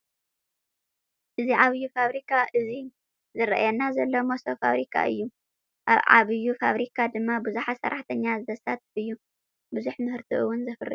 እዚ ዓብይ ፋብሪካ እዚ ዝረአየና ዘሎ መሰቦ ፋብሪካ እዩ። ኣብ ዓብይ ፋብሪካ ድማ ቡዙሓተ ሰራሕተኛ ዘሳትፍ እዩ። ቡዙሕ ምህርቲ እውን ዘፍሪ እዩ።